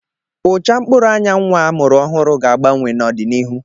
Ụcha mkpụrụ anya nnwa a mụrụ ọhụrụ ga-agbanwe n'ọdịnihu